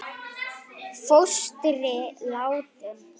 Fóstri látinn.